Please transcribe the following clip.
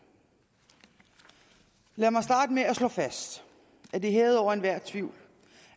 lad mig starte med at slå fast at det er hævet over enhver tvivl